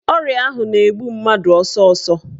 Ọrịa ahụ na-egbu mmadụ ọsọsọ.